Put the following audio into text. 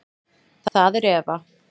Það er Eva.